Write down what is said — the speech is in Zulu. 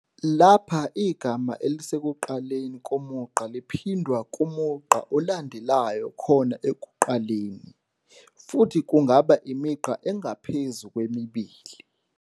Lapha igama elisekuqaleni komugqa liphindwa kumugqa olandelayo khona ekuqaleni, futhi kungaba imigqa engaphezu kwemibili.